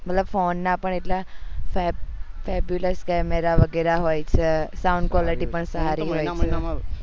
મતલબ ફોન ના પણ એટલા camera વગેરે હોય છે sound quality પણ સારી હોય છે